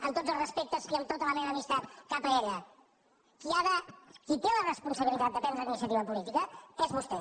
amb tots els respectes i amb tota la meva amistat cap a ella qui ha de qui té la responsabilitat de prendre la iniciativa política és vostè